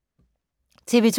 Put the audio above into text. TV 2